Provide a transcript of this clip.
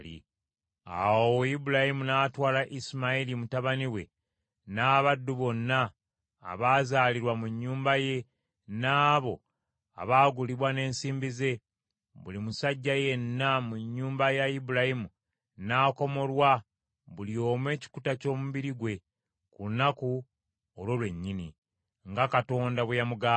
Awo Ibulayimu n’atwala Isimayiri mutabani we n’abaddu bonna abaazaalirwa mu nnyumba ye n’abo abaagulibwa n’ensimbi ze, buli musajja yenna mu nnyumba ya Ibulayimu n’akomolwa buli omu ekikuta ky’omubiri gwe ku lunaku olwo lwennyini, nga Katonda bwe yamugamba.